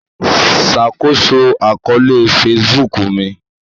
Ṣakoso akọọlẹ Facebook mi